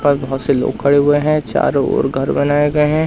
पर बहोत से लोग खड़े हुए हैं चारों ओर घर बनाए गए हैं।